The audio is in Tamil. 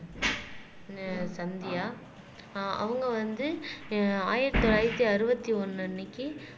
சந்தியா ஆஹ் அவங்க வந்து ஆஹ் ஆயிரத்தி தொள்ளாயிரத்தி அறுபத்தி ஒண்ணு அன்னைக்கு